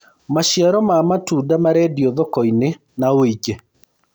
maciaro ma matunda marendio thoko-inĩ na wũingi